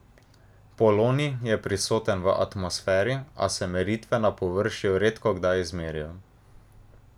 Polonij je prisoten v atmosferi, a se meritve na površju redkokdaj izmerijo.